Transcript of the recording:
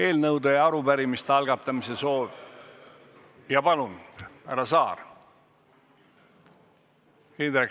Indrek Saar, palun!